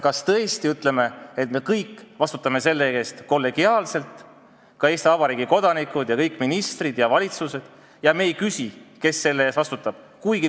Kas me tõesti ütleme, et me kõik vastutame selle eest kollegiaalselt – Eesti Vabariigi kodanikud, kõik ministrid ja valitsused – ega küsi, kes selle eest vastutab?